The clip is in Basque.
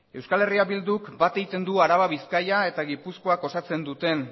euskal herria bilduk bat egiten du araba bizkaia eta gipuzkoak osatzen duten